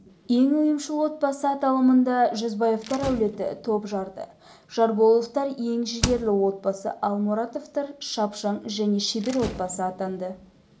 ең ұйымшыл отбасы аталымында жүзбаевтар әулеті топ жарды жарболовтар ең жігерлі отбасы ал мұратовтар шапшаң және шебер отбасы атанды